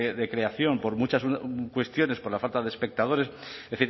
de creación por muchas cuestiones por la falta de espectadores es